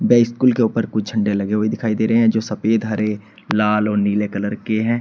ये स्कूल के ऊपर कुछ झंडे लगे हुए दिखाई दे रहे हैं जो सफेद हरे लाल और नीले कलर के हैं।